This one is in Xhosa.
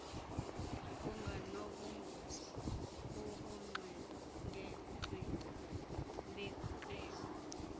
kunganobungozi ubungxengengxenge beqela